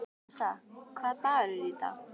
Arisa, hvaða dagur er í dag?